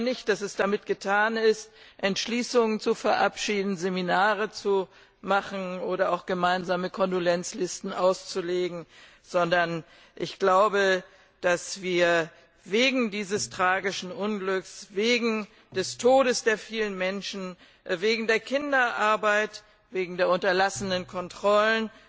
Es ist nicht damit getan, Entschließungen zu verabschieden, Seminare zu machen oder auch gemeinsame Kondolenzlisten auszulegen, sondern wir sind wegen dieses tragischen Unglücks, wegen des Todes der vielen Menschen, wegen der Kinderarbeit, wegen der unterlassenen Kontrollen,